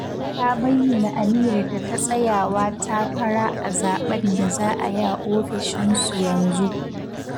Ta bayyana aniyarta ta tsayawa takara a zaɓen da za a yi ofishinsu yanzu